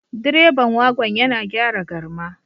Direban wagon yana gyara garma